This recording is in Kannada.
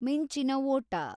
ಮಿಂಚಿನ ಓಟ